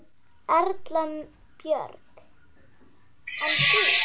Erla Björg: En þú?